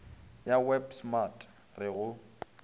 ya web smart re go